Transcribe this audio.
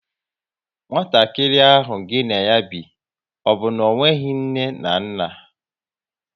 Nwatakịrị ahụ gịnị ya bi, ọ bụ na onweghi nne na nna?